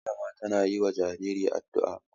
Malama tana yi wa jariri addu'a.